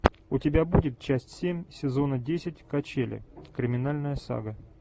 у тебя будет часть семь сезона десять качели криминальная сага